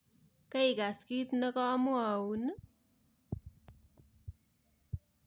Kerikas kit nekomwoun i?